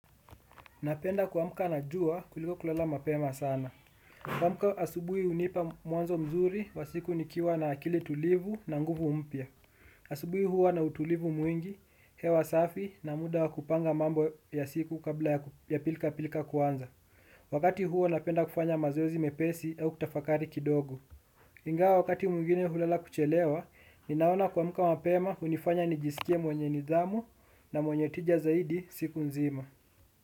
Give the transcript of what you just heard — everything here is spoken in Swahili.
Napenda kuamka najua kuliko kulala mapema sana. Kuamka asubui unipa muanzo mzuri wa siku nikiwa na akili tulivu na nguvu mpya. Asubui huwa na utulivu mwingi, hewa safi na muda wakupanga mambo ya siku kabla ya pilika pilika kuanza. Wakati huo napenda kufanya mazozi mepesi au kutafakari kidogo. Ingawa wakati mwingine hulala kuchelewa, ninaona kuamka mapema hunifanya nijisikie mwenye nidhamu na mwenye tija zaidi siku nzima.